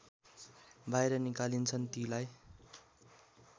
बाहिर निकालिन्छन् तीलाई